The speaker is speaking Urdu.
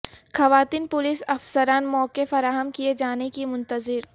خواتین پولیس افسران موقع فراہم کیے جانے کی منتظر